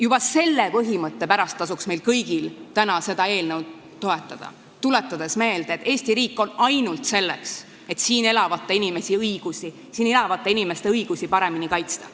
Juba selle põhimõtte pärast tasuks meil kõigil täna seda eelnõu toetada, tuletades meelde, et Eesti riik on selleks, et siin elavate inimeste õigusi paremini kaitsta.